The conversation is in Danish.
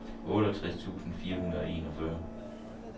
otteogtres tusind fire hundrede og enogfyrre